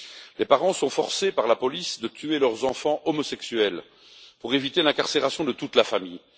Les parents sont forcés par la police de tuer leurs enfants homosexuels pour éviter l'incarcération de toute la famille.